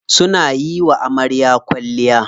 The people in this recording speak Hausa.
Suna yiwa amarya kwalliya.